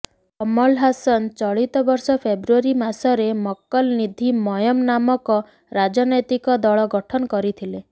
କମଲ ହାସନ ଚଳିତ ବର୍ଷ ଫେବ୍ରୁଆରୀ ମାସରେ ମକ୍କଲ ନିଧୀ ମୟମ ନାମକ ରାଜନୈତିକ ଦଳ ଗଠନ କରିଥିଲେ